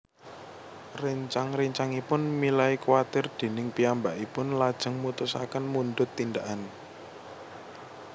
Réncang réncangipun milai kwatir déning piyambakipun lajeng mutusaken mundhut tindakan